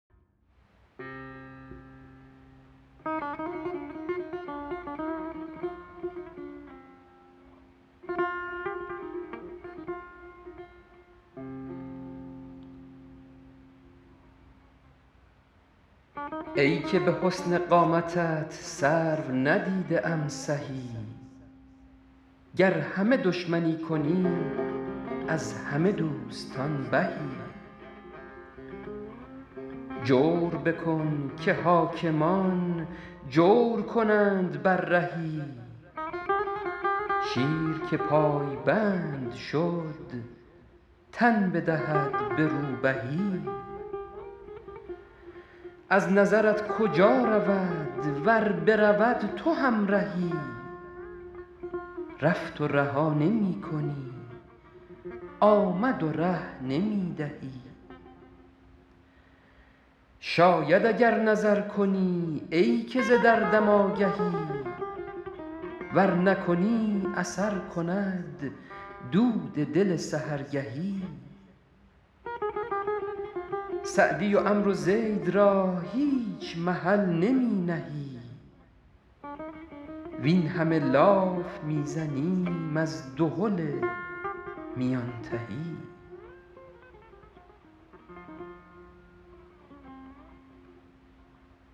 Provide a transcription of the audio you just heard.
ای که به حسن قامتت سرو ندیده ام سهی گر همه دشمنی کنی از همه دوستان بهی جور بکن که حاکمان جور کنند بر رهی شیر که پایبند شد تن بدهد به روبهی از نظرت کجا رود ور برود تو همرهی رفت و رها نمی کنی آمد و ره نمی دهی شاید اگر نظر کنی ای که ز دردم آگهی ور نکنی اثر کند دود دل سحرگهی سعدی و عمرو زید را هیچ محل نمی نهی وین همه لاف می زنیم از دهل میان تهی